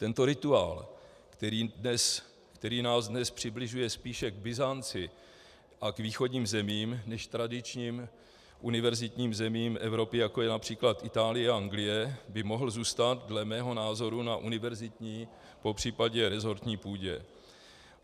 Tento rituál, který nás dnes přibližuje spíše k Byzanci a k východním zemím než k tradičním univerzitním zemím Evropy, jako je například Itálie a Anglie, by mohl zůstat dle mého názoru na univerzitní, popřípadě resortní půdě.